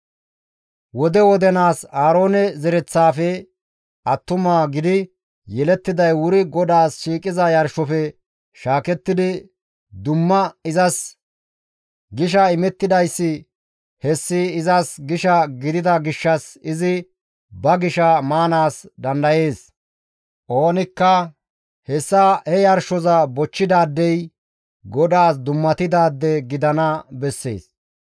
Wode wodenaas Aaroone zereththaafe attuma gidi yelettiday wuri GODAAS shiiqiza yarshofe shaakettidi dumma izas gisha imettidayssi hessi izas gisha gidida gishshas izi ba gisha maanaas dandayees; oonikka hessa he yarshoza bochchidaadey GODAAS dummatidaade gidana bessees.»